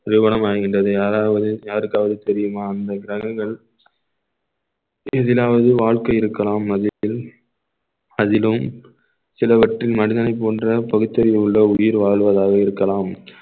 நிறுவனமாகின்றது யாராவது யாருக்காவது தெரியுமா அந்த கிரகங்கள் எதிலாவது வாழ்க்கை இருக்கலாம் அதிலும் அதிலும் சிலவற்றில் மனிதனைப் போன்ற பகுத்தறிவு உள்ள உயிர் வாழ்வதாக இருக்கலாம்